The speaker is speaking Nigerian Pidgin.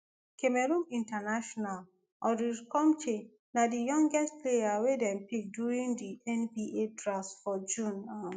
cameroon international ulrich chomche na di youngest player wey dem pick during di nba draft for june. um